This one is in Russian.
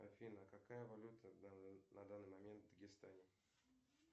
афина какая валюта на данный момент в дагестане